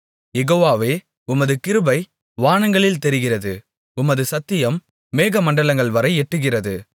யெகோவாவே உமது கிருபை வானங்களில் தெரிகிறது உமது சத்தியம் மேகமண்டலங்கள்வரை எட்டுகிறது